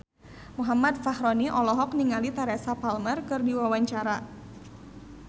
Muhammad Fachroni olohok ningali Teresa Palmer keur diwawancara